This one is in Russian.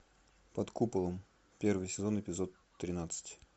под куполом первый сезон эпизод тринадцать